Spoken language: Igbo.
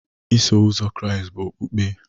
Iso Ụzọ Kraịst bụ okpukpe